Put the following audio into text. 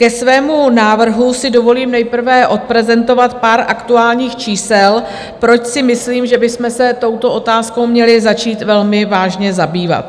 Ke svému návrhu si dovolím nejprve odprezentovat pár aktuálních čísel, proč si myslím, že bychom se touto otázkou měli začít velmi vážně zabývat.